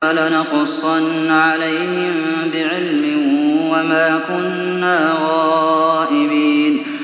فَلَنَقُصَّنَّ عَلَيْهِم بِعِلْمٍ ۖ وَمَا كُنَّا غَائِبِينَ